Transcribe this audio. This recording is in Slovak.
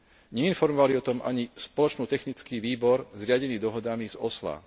Neinformovali o tom ani spoločný technický výbor zriadený dohodami z Osla.